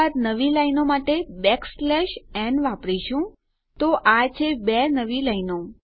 ત્યારબાદ નવી લાઈનો માટે બેકસ્લેશ ન વાપરીશું તો આ છે 2 નવી લાઈનો